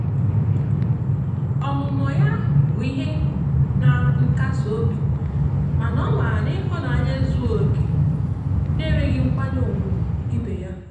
ha abuo chiri obere ochima lahachi na owu na-ama na etiti ha.